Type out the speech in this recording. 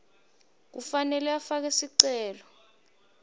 kufanele afake sicelo